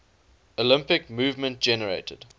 olympic movement generated